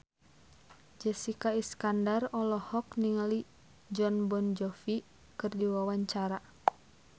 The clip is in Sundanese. Jessica Iskandar olohok ningali Jon Bon Jovi keur diwawancara